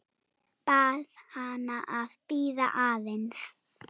Bað hana að bíða aðeins.